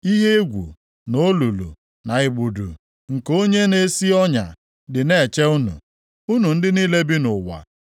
Ihe egwu, na olulu, na igbudu nke onye na-esi ọnya dị na-eche unu, unu ndị niile bi nʼụwa.